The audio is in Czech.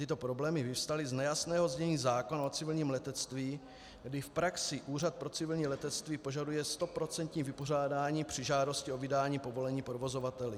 Tyto problémy vyvstaly z nejasného znění zákona o civilním letectví, kdy v praxi Úřad pro civilní letectví požaduje stoprocentní vypořádání při žádosti o vydání povolení provozovateli.